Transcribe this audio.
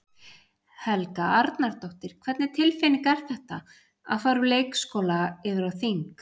Helga Arnardóttir: Hvernig tilfinning er þetta, að fara úr leikskóla yfir á þing?